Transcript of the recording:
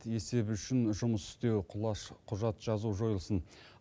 есеп үшін жұмыс істеу құлаш құжат жазу жойылсын